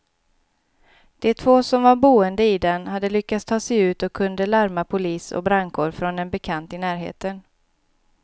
De två som var boende i den hade lyckats ta sig ut och kunde larma polis och brandkår från en bekant i närheten.